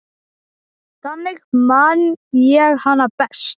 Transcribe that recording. Þannig man ég hana best.